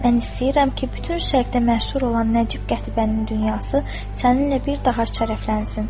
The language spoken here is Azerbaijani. Mən istəyirəm ki, bütün Şərqdə məşhur olan Nəcib Qətibənin dünyası səninlə bir daha şərəflənsin.